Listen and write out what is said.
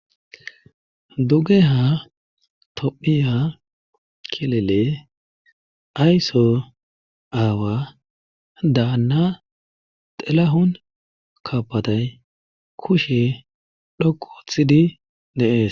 duge ha tom7iya kelele ayso aawa daanna xelahon kaapatay kushe dhoqoothidi deees